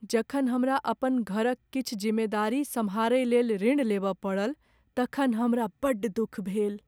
जखन हमरा अपन घरक किछु जिम्मेदारी सम्हारइ लेल ऋण लेबय पड़ल तखन हमरा बड्ड दुख भेल।